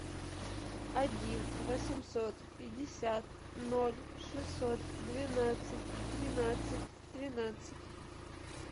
один восемьсот пятьдесят ноль шестьсот двенадцать тринадцать тринадцать